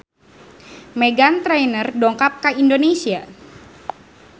Meghan Trainor dongkap ka Indonesia